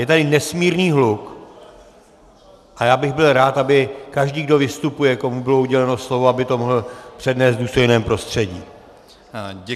Je tady nesmírný hluk a já bych byl rád, aby každý, kdo vystupuje, komu bylo uděleno slovo, aby to mohl přednést v důstojném prostředí.